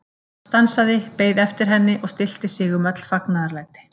Hann stansaði, beið eftir henni og stillti sig um öll fagnaðarlæti.